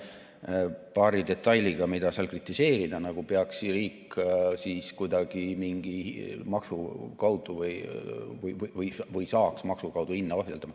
Oli paar detaili, mida võiks kritiseerida, näiteks nagu peaks riik mingi maksu kaudu hinda ohjeldama või saaks seda teha.